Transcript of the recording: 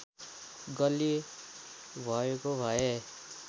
गल्ती भएको भए